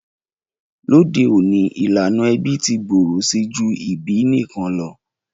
Lóde ọ̀ní, ìlànà ẹbí ti gbòrò si ju ìbí nikan lo.